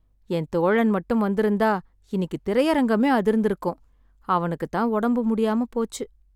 என் தோழன் மட்டும் வந்துருந்தா இன்னிக்குத் திரையரங்கமே அதிர்ந்து இருக்கும், அவனுக்குத் தான் உடம்பு முடியாம போச்சு.